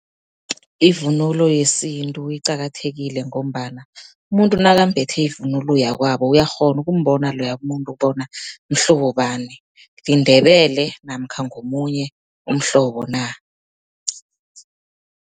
Ivunulo yesintu iqakathekile, ngombana umuntu nakambethe ivunulo yakwabo, uyakghona ukumbona loya muntu bona mhlobo bani, liNdebele namkha ngomunye umhlobo na.